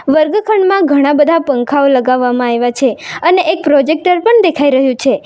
વર્ગખંડમાં ઘણા બધા પંખાઓ લગાવવામાં આયવા છે અને એક પ્રોજેક્ટર પણ દેખાઈ રહ્યું છે.